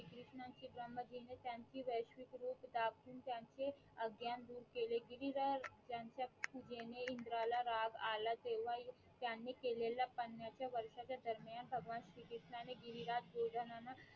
डाकून त्यांचे अज्ञान धूर केले गिरीधर त्यांच्या पुजेने इंद्रा ला राग आला तेव्हा त्यांनी केलेल्या पण्यच्या च्या वर्षाच्या दरम्यान भगवान श्री कृष्णानाने गिरिरात भोजनानं